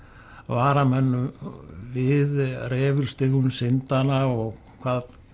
vara menn við refilstigum syndanna og hvað